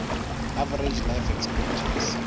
average life expectancy